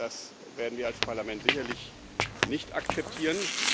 Das werden wir als Parlament sicherlich nicht akzeptieren.